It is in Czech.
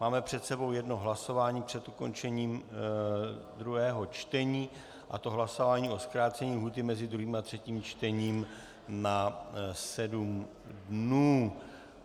Máme před sebou jedno hlasování před ukončením druhého čtení, a to hlasování o zkrácení lhůty mezi druhým a třetím čtením na 7 dnů.